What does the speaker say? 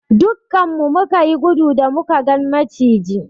Duƙƙan mu muka yi gudu da muka gan macijin.